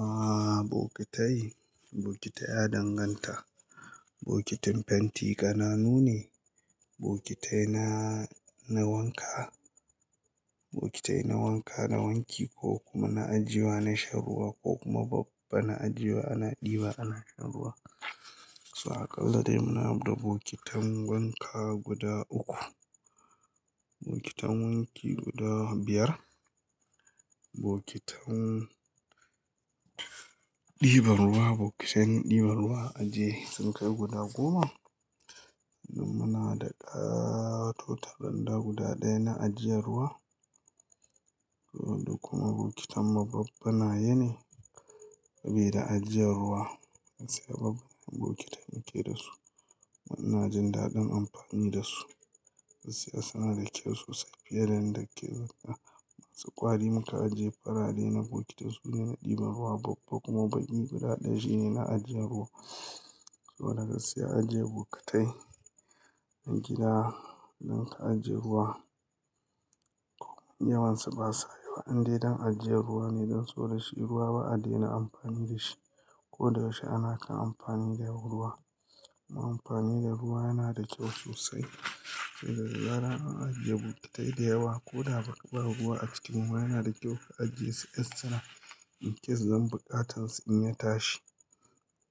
Aaa bokitai, bokitai a danganta. Bokitin fenti ƙananu ne, bokitai na, na wanka, bokitai na wanka, na wanki ko kuma na ajiya, na shan ruwa ko kuma babba na ajiya ana ɗiba ana shan ruwa. Sa kalla dai muna buɗe bokitin wanka guda uku, bokitin wanki guda biyar, bokitin ɗiban ruwa, bokitin ɗiban ruwa ajiye sinkai guda goma. Lim muna da ɗa totaranda guda ɗaya na ajiyar ruwa. Koda kuma bokitin mababbana yane bai da ajiyar ruwa. Gaskiya babu bokitin yake da su amma ina jin daɗin amfani da su. Gaskiya suna da kyau sosai fiye da yanda ke. Masu ƙwari muka ajiye farare na bokitin su na ɗiban ruwa babba kuma baki guda ɗaya shine na ajiyar ruwa. So na gaskiya ajiye bokitai a gida don ka ajiye ruwa. Yawan su ba sa yawa, an dai don ajiye ruwa ne don so da shi ruwa ba a daina amfani da shi. Ko da yaushe ana kan amfani da ruwa, ruwa amfani da ruwa yana da kyau sosai. Gaggara an ajiye bokitai da yawa ko da bakabar ruwa a cikin ruwa yana da kyau ka ajiye su, incase don buƙatarsa in ya tashi,